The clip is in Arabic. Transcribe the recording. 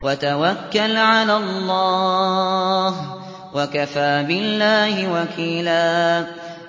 وَتَوَكَّلْ عَلَى اللَّهِ ۚ وَكَفَىٰ بِاللَّهِ وَكِيلًا